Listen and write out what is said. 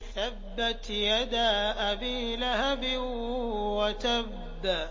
تَبَّتْ يَدَا أَبِي لَهَبٍ وَتَبَّ